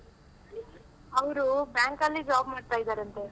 ಅವ್ರು bank ಅಲ್ಲಿ job ಮಾಡ್ತಾ ಇದಾರಂತೆ.